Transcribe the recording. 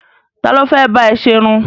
Ta ló fẹ́ bá ẹ ṣerun?